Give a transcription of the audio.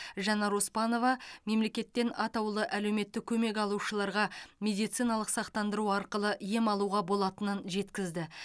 жанар оспанова мемлекеттен атаулы әлеуметтік көмек алушыларға медициналық сақтандыру арқылы ем алуға болатынын жеткізді